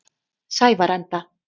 Sævarenda